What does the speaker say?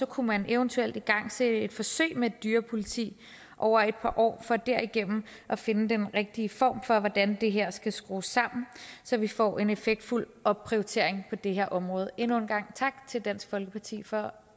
kunne man eventuelt igangsætte et forsøg med et dyrepoliti over et par år for derigennem at finde den rigtige form for hvordan det her skal skrues sammen så vi får en effektfuld opprioritering på det her område endnu en gang tak til dansk folkeparti for